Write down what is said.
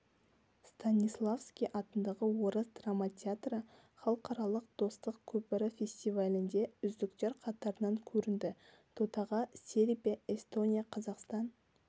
станиславский атындағы орыс драма театры халықаралық достық көпірі фестивалінде үздіктер қатарынан көрінді додаға сербия эстония қазақстан